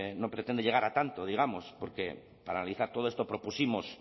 no pretende llegar a tanto digamos porque para analizar todo esto propusimos